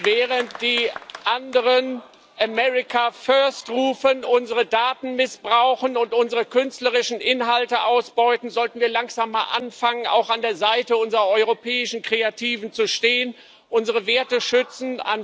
Während die anderen America first rufen, unsere Daten missbrauchen und unsere künstlerischen Inhalte ausbeuten, sollten wir langsam mal anfangen, auch an der Seite unserer europäischen Kreativen zu stehen, unsere Werte schützen.